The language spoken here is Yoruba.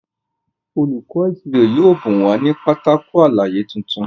Olùkó ìṣirò yóò bùn wa ní Pátákó àlàyé títún.